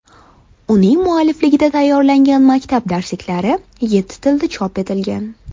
Uning muallifligida tayyorlangan maktab darsliklari yetti tilda chop etilgan.